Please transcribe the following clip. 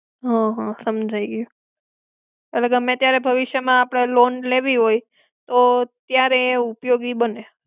હમ્મ હમ્મ, હમજાઈ ગ્યું. એટલે ગમે ત્યારે ભવિષ્ય માં આપણે loan લેવી હોય, તો ત્યારે ઉપયોગી બને.